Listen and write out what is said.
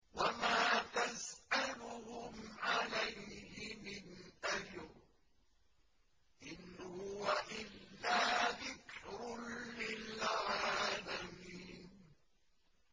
وَمَا تَسْأَلُهُمْ عَلَيْهِ مِنْ أَجْرٍ ۚ إِنْ هُوَ إِلَّا ذِكْرٌ لِّلْعَالَمِينَ